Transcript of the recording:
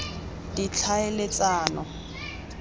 ditlhaeletsano